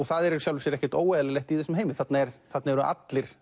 það er í sjálfu sér ekkert óeðlilegt í þessum heimi þarna eru þarna eru allir